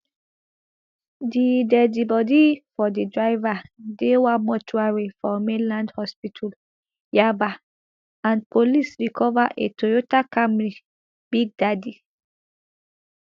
di deadi body of di driver dey one mortuary for mainland hospital yaba and police recover a toyota camry big daddy